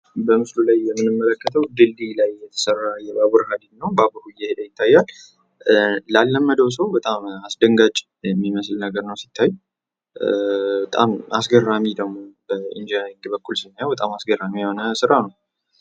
በምስሉ ላይ የምንመለከተው ድልድይ ላይ የተሰራ የባቡር ሀዲድ ነው ። ባቡሩ እየሄደ ይታያል። ላለመደው ሰው በጣም አስደንጋጭ ሚመስል ነገር ነው ሲታይ ። በጣም አስገራሚ ደግሞ በኢንጅነሪንግ በኩል ሲታይ በጣም አስገራሚ የሆነ ስራ ነው ።